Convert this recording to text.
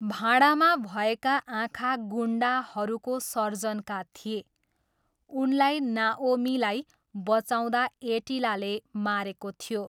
भाँडामा भएका आँखा गुन्डाहरूको सर्जनका थिए, उनलाई नाओमीलाई बचाउँदा एटिलाले मारेको थियो।